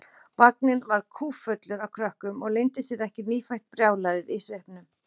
Vagninn var kúffullur af krökkum og leyndi sér ekki nýfætt brjálæðið í svipnum.